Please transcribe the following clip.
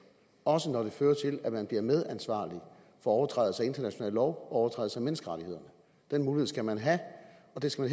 også når det fører til at man bliver medansvarlig for overtrædelse af international lov og overtrædelse af menneskerettigheder den mulighed skal man have og det skal